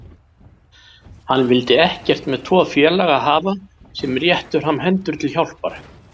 Hann vildi ekkert með tvo félaga hafa sem réttu fram hendur til hjálpar.